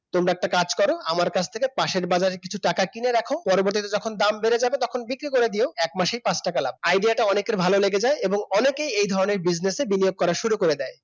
তোমরা একটা কাজ কর আমার কাছ থেকে পাশের বাজারের কিছু টাকা কিনে রাখো পরবর্তীতে যখন দাম বেড়ে যাবে তখন বিক্রি করে দিও এক মাসেই পাঁচ টাকা লাভ Idea টা অনেকেরই ভালো লেগে যায় এবং অনেকেই এই রকমের Business এ বিনিয়োগ করা শুরু করে দেয়